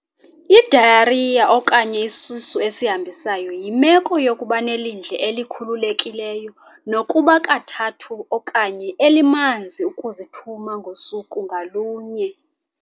I-Diarrhea okanye isisu esihambisayo yimeko yokuba nelindle elikhululekileyo nokuba kukathathu okanye elimanzi ukuzithumangosuku ngalunye.